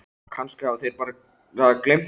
Kannski hafa þeir bara gleymt því.